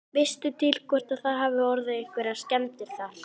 Veistu til hvort að það hafi orðið einhverjar skemmdir þar?